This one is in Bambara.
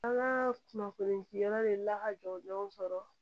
An ka kunnafoni di yɔrɔ de la ka jɔ denw kɔrɔ